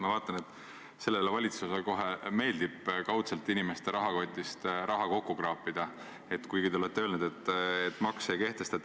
Ma vaatan, et sellele valitsusele kohe meeldib kaudselt inimeste rahakotist raha kokku kraapida, kuigi te olete öelnud, et makse ei kehtestata.